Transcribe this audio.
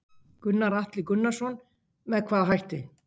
Gunnar Atli Gunnarsson: Með hvaða hætti?